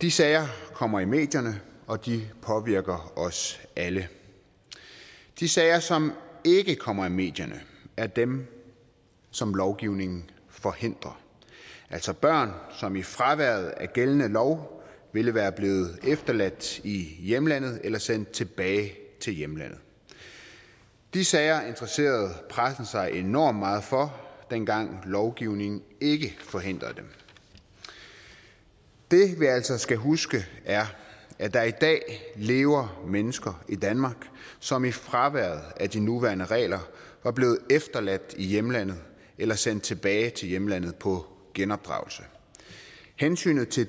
de sager kommer i medierne og de påvirker os alle de sager som ikke kommer i medierne er dem som lovgivningen forhindrer altså børn som i fraværet af gældende lov ville være blevet efterladt i hjemlandet eller sendt tilbage til hjemlandet de sager interesserede pressen sig enormt meget for dengang lovgivningen ikke forhindrede dem det vi altså skal huske er at der i dag lever mennesker i danmark som i fraværet af de nuværende regler var blevet efterladt i hjemlandet eller sendt tilbage til hjemlandet på genopdragelse hensynet til